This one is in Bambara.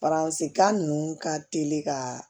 kan ninnu ka teli ka